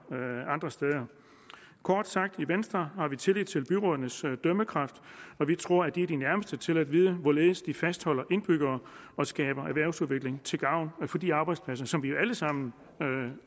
andre steder kort sagt i venstre har vi tillid til byrådenes dømmekraft vi tror at de er de nærmeste til at vide hvorledes de fastholder indbyggere og skaber erhvervsudvikling til gavn for de arbejdspladser som vi jo alle sammen